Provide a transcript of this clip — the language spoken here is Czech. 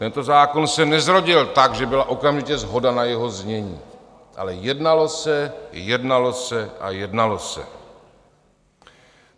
Tento zákon se nezrodil tak, že byla okamžitě shoda na jeho znění, ale jednalo se, jednalo se a jednalo se.